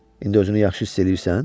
İndi özünü yaxşı hiss eləyirsən?